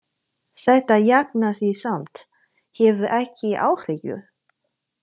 Þetta jafnar sig samt, hafðu ekki áhyggjur.